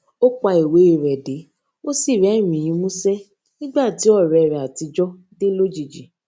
ó pa ìwé rè de ó sì rérìnín músé nígbà tí òré rè àtijó dé lójijì